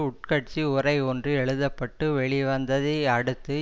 உட்கட்சி உரை ஒன்று எழுத பட்டு வெளிவந்ததை அடுத்து